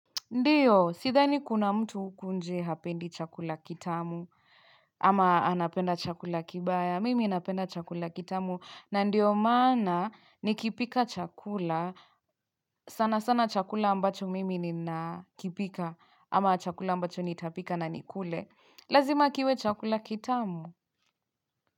Ndiyo, sidhani kuna mtu huku nje hapendi chakula kitamu, ama anapenda chakula kibaya, mimi napenda chakula kitamu, na ndiyo maana nikipika chakula, sana sana chakula ambacho mimi nina kipika, ama chakula ambacho nitapika na nikule, lazima kiwe chakula kitamu.